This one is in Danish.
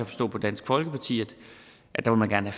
forstå på dansk folkeparti at man gerne